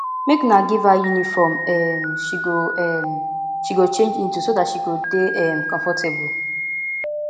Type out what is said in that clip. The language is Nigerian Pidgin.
make una give her uniform um she go um she go change into so dat she go dey um comfortable